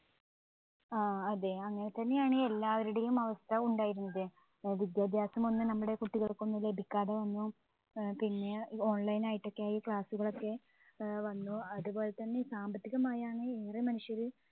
ആ അതെ അങ്ങനെത്തന്നെയാണ് എല്ലാവരുടെയും അവസ്ഥ ഉണ്ടായിരുന്നത് വിദ്യാഭ്യാസമൊന്നു നമ്മുടെ കുട്ടികൾക്ക് ലഭിക്കാതെ വന്നു ഏർ പിന്നെ online ആയിട്ടൊക്കെ ആയി class ഉകളൊക്കെ ഏർ വന്നു. അതുപോലെതന്നെ സാമ്പത്തികമായാണ് ഏറെ മനുഷ്യര്